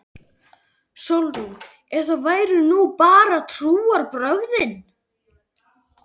SÓLRÚN: Ef það væru nú bara trúarbrögðin!